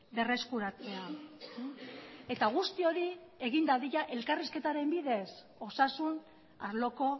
berreskuratzea eta guzti hori egin dadila elkarrizketaren bidez osasun arloko